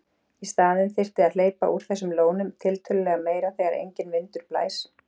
Í staðinn þyrfti að hleypa úr þessum lónum tiltölulega meira þegar enginn vindur blæs.